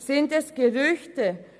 Sind es Gerüchte?